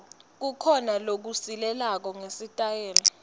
kukhona lokusilelako ngesitayela